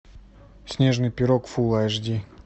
снежный пирог фул айч ди